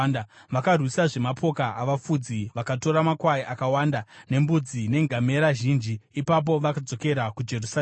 Vakarwisazve mapoka avafudzi vakatora makwai akawanda nembudzi nengamera zhinji. Ipapo vakadzokera kuJerusarema.